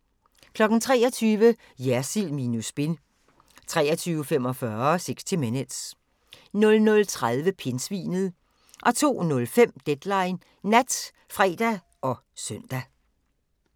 23:00: Jersild minus spin 23:45: 60 Minutes 00:30: Pindsvinet 02:05: Deadline Nat (fre og søn)